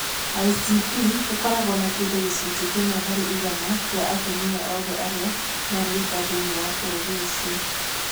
ICP ĩkoragwo na kĩndũ gĩcunjĩ kĩmwe harĩ igana kĩa atumia othe arĩa marĩ nda thĩinĩ wa bũrũri ũcio.